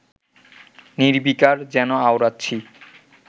নির্বিকার, যেন আওড়াচ্ছি